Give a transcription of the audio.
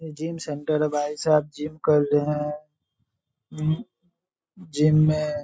Gym centre है। भाईसाब gym कर रहे है। जिम जिम में--